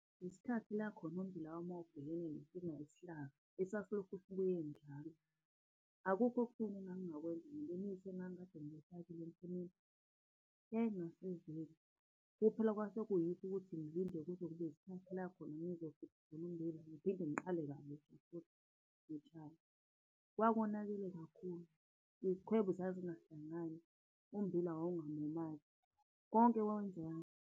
Isikhathi lakhona ummbila wami wawubhekene nenkinga yesihlava esasilokhu sibuye njalo. Akukho okutheni engangingakawenza ngemithi engangikade ngiyifakile entshimini, . Kuphela kwase kuyikho ukuthi ngilinde kuze kube isikhathi lakhona ngizokhipha khona ummbila ngiphinde ngiqale kabusha ngitshale. Kwakonakele kakhulu, izikhwebu zazingahlangani, ummbila , konke kwakwenziwa.